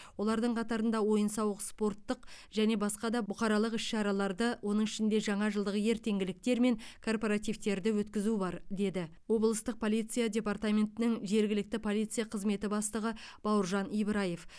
олардың қатарында ойын сауық спорттық және басқа да бұқаралық іс шараларды оның ішінде жаңа жылдық ертеңгіліктер мен корпоративтерді өткізу бар деді облыстық полиция департаментінің жергілікті полиция қызметінің бастығы бауыржан ибраев